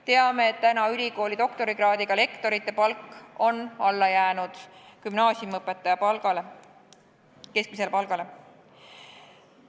Teame, et ülikooli doktorikraadiga lektori palk on alla jäänud gümnaasiumiõpetaja keskmisele palgale.